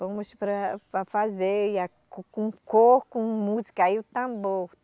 Fomos para, para fazer e a com cor, com música e o tambor.